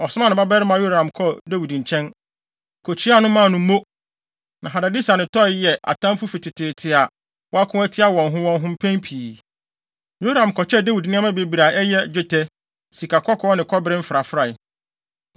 ɔsomaa ne babarima Yoram kɔɔ Dawid nkyɛn, kokyiaa no maa no mo. Na Hadadeser ne Toi yɛ atamfo fi teteete a wɔako atia wɔn ho wɔn ho mpɛn pii. Yoram kɔkyɛɛ Dawid nneɛma bebree a ɛyɛ, dwetɛ, sikakɔkɔɔ ne kɔbere mfrafrae.